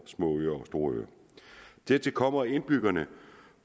små øer og store øer dertil kommer at indbyggerne